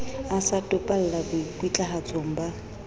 a sa topalla boikutlwahatsong ba